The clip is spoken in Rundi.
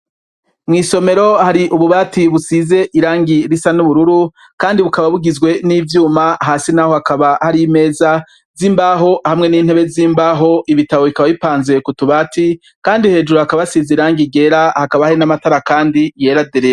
Mwisomero hari ububati busize irangi risa n’ubururu kandi bukaba bugizwe n’ivyuma hasi naho hakaba hari imeza z'imbaho hamwe n'intebe z'imbaho, ibitabo bikaba bipanze kutubati kandi hejuru hakaba hasize irangi ryera hakaba hari n'amatara kandi yera derere.